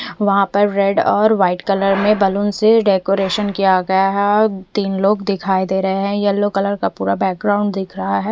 वहां पर रेड और वाइट कलर में बैलून से डेकोरेशन किया गया है तीन लोग दिखाई दे रहे हैं येलो कलर का पूरा बैकग्राउंड दिख रा है।